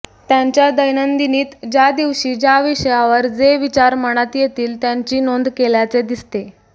त्यांच्या दैनंदिनीत ज्या दिवशी ज्या विषयावर जे विचार मनात येतील त्याची नोंद केल्याचे दिसते